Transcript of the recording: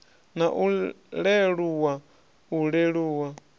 na u leluwa u leluwa